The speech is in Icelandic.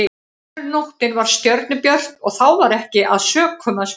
Önnur nóttin var stjörnubjört og þá var ekki að sökum að spyrja.